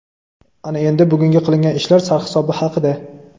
ana endi bugungi qilingan ishlar sarhisobi haqida:.